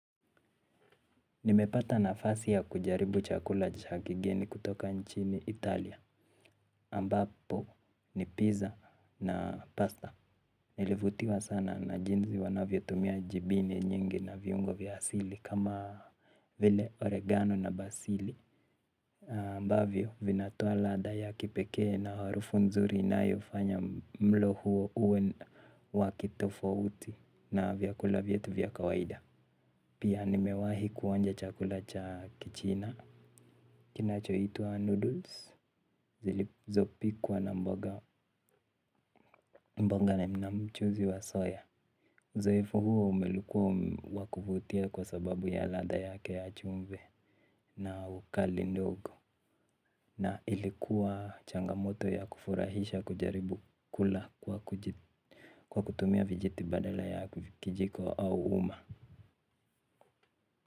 Nimepata nafasi ya kujaribu chakula cha kigeni kutoka nchini Italia. Ambapo ni pizza na pasta. Nilivutiwa sana na jinsi wanavyotumia jibini nyingi na viungo vya asili kama vile oregano na basili. Ambavyo vinatoa radha ya kipekee na harufu nzuri inayofanya mlo huo uwe wa kitofauti na vyakula vyetu vya kawaida. Pia nimewahi kuonja chakula cha kichina kinachoitwa noodles zilizopikwa na mbonga na mchuzi wa soya uzoefu huo umekua wa kuvutia kwa sababu ya radha yake ya chumvi na ukali ndogo. Na ilikuwa changamoto ya kufurahisha kujaribu kula kwa kutumia vijiti badala ya kijiko au uma.